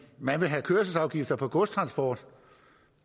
man vil have kørselsafgifter på godstransport